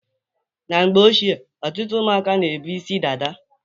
Na mgbe ochie, ọtụtụ ụmụaka na-ebu isi dada.